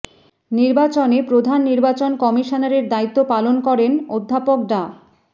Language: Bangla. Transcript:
নির্বাচনে প্রধান নির্বাচন কমিশনারের দায়িত্ব পালন করেন অধ্যাপক ড